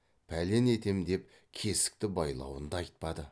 пәлен етем деп кесікті байлауын да айтпады